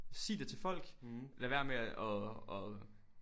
Sig det til folk lad være med at at